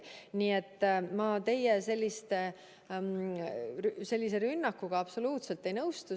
Nii et ma teie sellise rünnakuga absoluutselt ei nõustu.